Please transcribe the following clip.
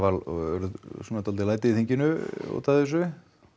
urðu svolítil læti í þinginu út af þessu